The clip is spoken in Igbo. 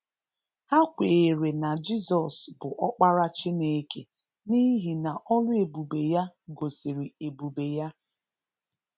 Ha kweere na Jizọs bụ Ọkpara Chineke n’ihi na ọlụ ebube ya gosiri ebube ya.